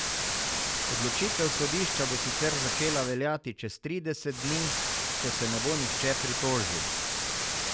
Odločitev sodišča bo sicer začela veljati čez trideset dni, če se ne bo nihče pritožil.